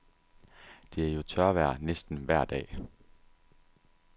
Det er jo tørvejr næsten vejr dag.